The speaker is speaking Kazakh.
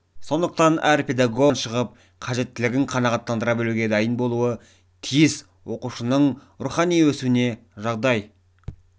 сондықтан әр педогог әрбір баланың ойынан шығып қажеттілігін қанағаттандыра білуге дайын болуы тиіс оқушының рухани өсуіне жағдай